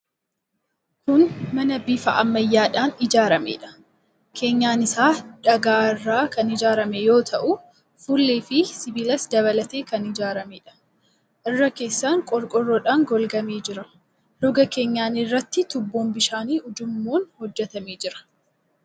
Kun mana bifa ammayyaadhaan ijaarameedha. Keenyan isaa dhagaa irraa kan ijaarame yoo ta'u, fuullee fi sibiilas dabalatee kan ijaarameedha. Irra keessaan qorqorroodhaan golgamee jira. Roga keenyanii irraatiin tuubboon bishaan ujummoon hojjetamee jira.